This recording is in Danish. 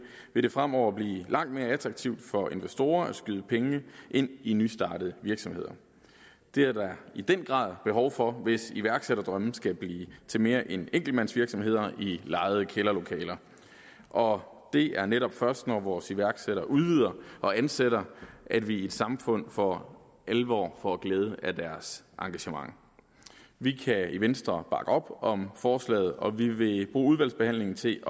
vil det fremover blive langt mere attraktivt for investorer at skyde penge ind i nystartede virksomheder det er der i den grad behov for hvis iværksætterdrømme skal blive til mere end enkeltmandsvirksomheder i lejede kælderlokaler og det er netop først når vores iværksættere udvider og ansætter at vi i et samfund for alvor får glæde af deres engagement vi kan i venstre bakke op om forslaget og vi vil bruge udvalgsbehandlingen til